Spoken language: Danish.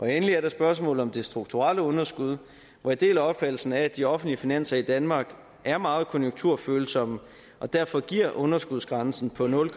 endelig er der spørgsmålet om det strukturelle underskud hvor jeg deler opfattelsen af at de offentlige finanser i danmark er meget konjunkturfølsomme og derfor giver underskudsgrænsen på nul